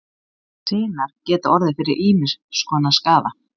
Sinar geta orðið fyrir ýmiss konar skaða.